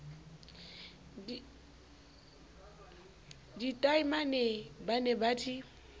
ditaemane ba ne ba di